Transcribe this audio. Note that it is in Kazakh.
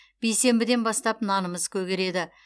бейсенбіден бастап нанымыз көгереді